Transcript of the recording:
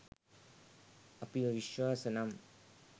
අපිව විශ්වාස නම්